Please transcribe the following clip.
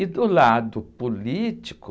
E do lado político...